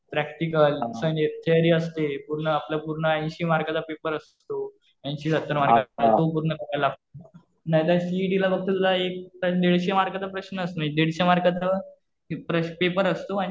, Practical म्हणजे theory असते. पूर्ण आपला पूर्ण ऐंशी मार्काचा पेपर असतो. ऐंशी-सत्तर मार्काचा तो पूर्ण करावा लागतो. नाहीतर सीइटीला फक्त तुला दीडशे मार्कांचं प्रश्न असतो. दीडशे मार्कांचं पेपर असतो.